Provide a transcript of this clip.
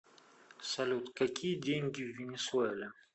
салют какие деньги в венесуэле